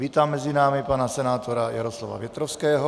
Vítám mezi námi pana senátora Jaroslava Větrovského.